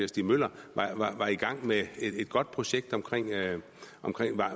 stig møller var i gang med et godt projekt om